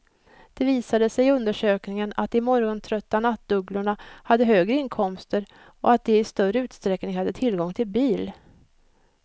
Det visade sig i undersökningen att de morgontrötta nattugglorna hade högre inkomster och att de i större utsträckning hade tillgång till bil.